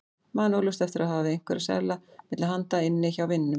Man óljóst eftir að hafa haft einhverja seðla milli handa inni hjá vininum.